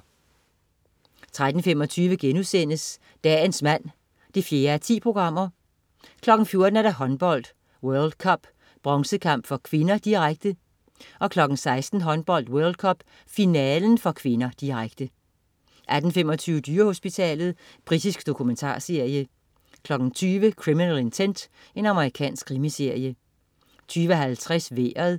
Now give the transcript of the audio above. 13.25 Dagens mand 4:10* 14.00 Håndbold: World Cup. Bronzekamp (k), direkte 16.00 Håndbold: World Cup. Finalen (k), direkte 18.25 Dyrehospitalet. Britisk dokumentarserie 20.00 Criminal Intent. Amerikansk krimiserie 20.50 Vejret